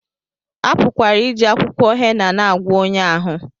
A pụkwara iji akwụkwọ hena na-agwọ ọnya ahụ